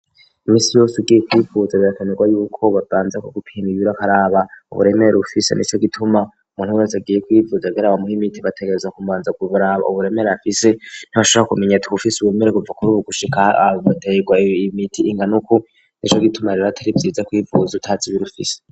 iminsi yose ugiye kwivuza birakenerwa yuko babanza kugupima ibiro bakaraba uburemere ufise nico gituma umuntu wese agiye kwivuza kugira bamuhe imiti bategerezwa kubanza kuraba uburemere afise ntibashobora kumenya uti uwufise ubemere kuva kuri ubu gushika aterwa imiti ingana uku nico gituma rero atari vyiza kwivuza utazi ibiro ufise.